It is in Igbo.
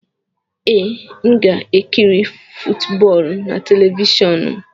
Ee, m ga-ekiri footboolu na telivishọn m.